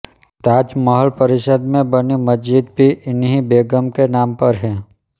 ताज महल परिसर में बनी मस्जिद भी इन्हीं बेगम के नाम पर है